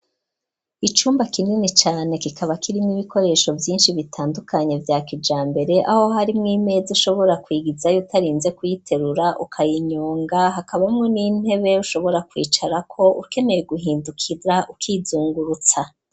Icumba kinini cane kikaba kirimwe ibikoresho vyinshi bitandukanye vya kijambere aho harimwo imeza ushobora kwigizayo utarinze kuyiterura ukayinyonga, hakabamwo n'intebe ushobora kwicarako ukeneye guhindukira ukizungurutsa.